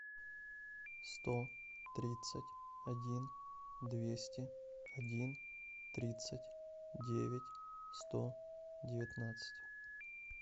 сто тридцать один двести один тридцать девять сто девятнадцать